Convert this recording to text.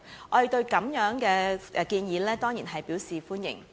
我們對此建議當然表示歡迎。